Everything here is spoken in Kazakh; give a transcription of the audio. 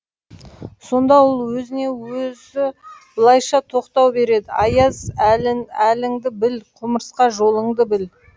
сонда ол өзіне өзі былайша тоқтау береді аяз әл әліңді біл құмырсқа жолыңды біл